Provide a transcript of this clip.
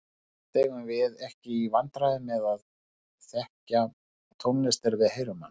Flest eigum við ekki í vandræðum með að þekkja tónlist þegar við heyrum hana.